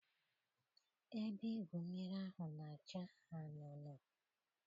Ebe igwu mmiri ahụ na-acha anunuu.